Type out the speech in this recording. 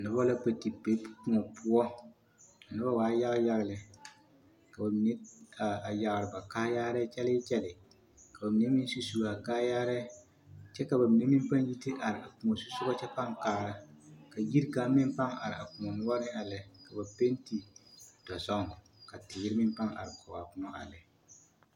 Noba la kpɛ te be kõɔ poɔ, a noba waa yaga yaga lɛ ka bamine a yagere ba kaayaare kyɛlee kyɛlee ka bamine meŋ su su a kaayarɛɛ kyɛ ka bamine meŋ pãã yi te are a kõɔ zusogɔ kyɛ pãã kaara ka yiri kaŋa meŋ pãã are a kõɔ noɔre a lɛ ka ba penti dɔzɔŋ ka teere meŋ pãã are kɔge a kõɔ a lɛ.